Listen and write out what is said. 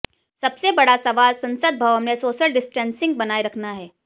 सबसे बड़ा सवाल संसद भवन में सोशल डिस्टेंसिंग बनाए रखना है